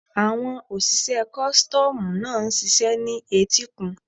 Àwọn òṣìṣẹ́ kọ́stọ́mù ń ṣiṣẹ́ ní etíkun.